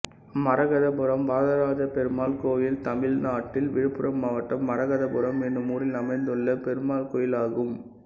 மரகதபுரம் வரதராஜபெருமாள் கோயில் தமிழ்நாட்டில் விழுப்புரம் மாவட்டம் மரகதபுரம் என்னும் ஊரில் அமைந்துள்ள பெருமாள் கோயிலாகும்